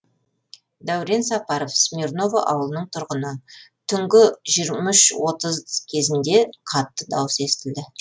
дәурен сапаров смирново ауылының тұрғыны түнгі жиырма үш отыз кезінде қатты дауыс естілді